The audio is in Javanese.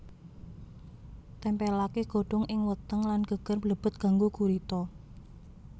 Tempèlaké godhong ing weteng lan geger blebet ganggo gurita